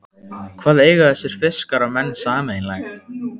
Hvað eiga þessir fiskar og menn sameiginlegt?